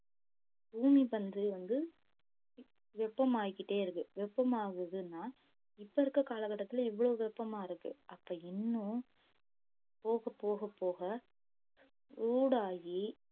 பூமிப்பந்து வந்து வெப்பமாயிக்கிட்டே இருக்கு வெப்பமாகுதுன்னா இப்ப இருக்கற கால கட்டத்துல இவ்வளவு வெப்பமா இருக்கு அப்ப இன்னும் போகப் போகப் போக ஊடாகி